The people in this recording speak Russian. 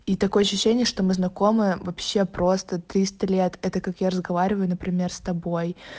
и такое ощущение что мы знакомы вообще просто триста лет это как я разговариваю например с тобой